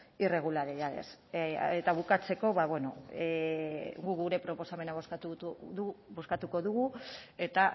irregularidades eta bukatzeko ba bueno guk gure proposamena bozkatuko dugu eta